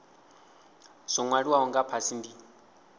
zwo nwaliwaho nga fhasi ndi